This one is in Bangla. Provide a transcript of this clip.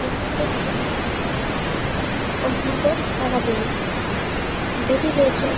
এটি হলো একটি কম্পিউটার একাডেমী । যেটি রয়েছে--